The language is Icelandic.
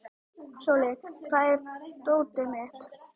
Sóli, hvar er dótið mitt?